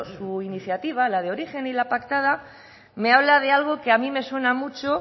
su iniciativa la de origen y la pactada me habla de algo que a mí me suena mucho